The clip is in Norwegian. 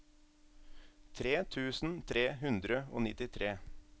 tre tusen tre hundre og nittitre